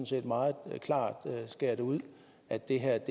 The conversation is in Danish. set meget klart skærer det ud at det her